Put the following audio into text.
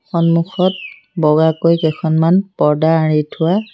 সন্মুখত বগাকৈ কেইখনমান পৰ্দা আঁৰি থোৱা--